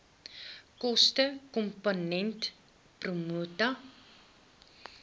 kostekomponent pro rata